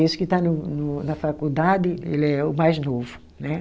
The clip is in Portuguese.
Esse que está no na faculdade, ele é o mais novo, né?